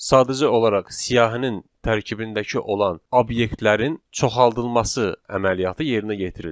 Sadəcə olaraq siyahinin tərkibindəki olan obyektlərin çoxaldılması əməliyyatı yerinə yetirildi.